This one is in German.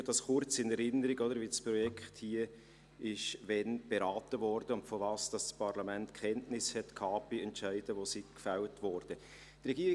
Ich rufe kurz in Erinnerung, wie und wann das Geschäft hier beraten wurde und wovon das Parlament bei Entscheiden, welche gefällt wurden, Kenntnis hatte.